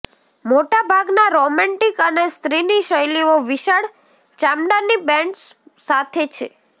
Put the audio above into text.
મોટાભાગના રોમેન્ટિક અને સ્ત્રીની શૈલીઓ વિશાળ ચામડાની બેન્ડ્સ સાથે છે